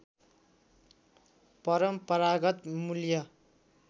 परम्परागत मूल्य